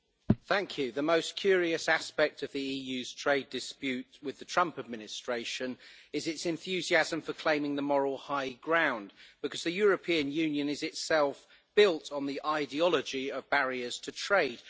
Mr President, the most curious aspect of the EU's trade dispute with the Trump administration is its enthusiasm for claiming the moral high ground, because the European Union is itself built on the ideology of barriers to trade.